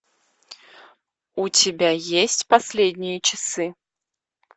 у тебя есть последние часы